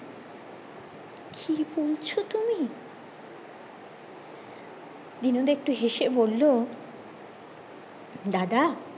কি বলছো তুমি দিনু একটু হেসে বললো দাদা